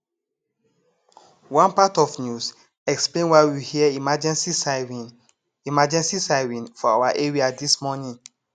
one part of news explain why we hear emergency siren emergency siren for our area dis morning